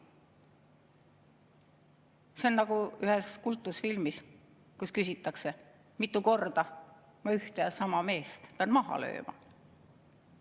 See on nagu ühes kultusfilmis, kus küsitakse: "Mitu korda ma ühte ja sama meest pean maha lööma?